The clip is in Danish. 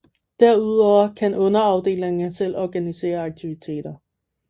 Derudover kan underafdelingerne selv organisere aktiviteter